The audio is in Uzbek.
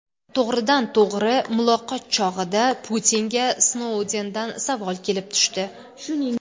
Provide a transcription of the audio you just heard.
To‘g‘ridan-to‘g‘ri muloqot chog‘ida Putinga Snoudendan savol kelib tushdi.